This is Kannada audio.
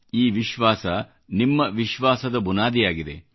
ಈ ವಿಶ್ವಾಸ ನಿಮ್ಮ ವಿಶ್ವಾಸದ ಬುನಾದಿಯಾಗಿದೆ